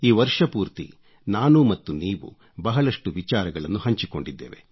ಈ ವರ್ಷಪೂರ್ತಿ ನಾನು ಮತ್ತು ನೀವು ಬಹಳಷ್ಟು ವಿಚಾರಗಳನ್ನು ಹಂಚಿಕೊಂಡಿದ್ದೇವೆ